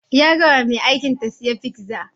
Ya gaya wa mai aikin ta sayi fizza